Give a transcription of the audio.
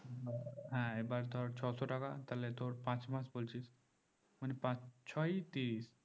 হ্যাঁ এবার ধর ছশো টাকা তাইলে তোর পাঁচ মাস বলছিস মানে পাঁচ ছয় ত্রিশ